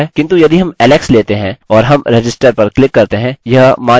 किन्तु यदि हम alex लेते हैं और हम register पर क्लिक करते हैं यह मान लिया गया है